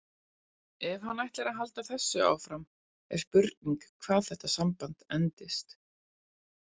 Ef hann ætlar að halda þessu áfram er spurning hvað þetta samband endist.